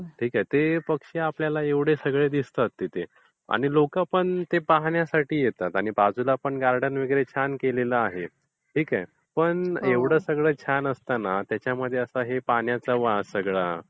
ते पक्षी आपल्याला एवढे सगळे दिसतात तिथे आणि लोकं पण पाहण्यासाठी येतात. आणि बाजूला पण गार्डन वगैरे छान केलेलं आहे. ठीक आहे; पण एवढं सगळं छान असताना त्याच्यामध्ये पाण्याचा वास हा सगळा